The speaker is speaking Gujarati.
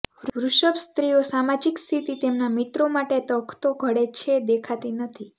વૃષભ સ્ત્રીઓ સામાજિક સ્થિતિ તેમના મિત્રો માટે તખતો ઘડે છે દેખાતી નથી